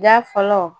Da fɔlɔ